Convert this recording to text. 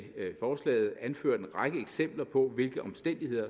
forslaget anført en række eksempler på hvilke omstændigheder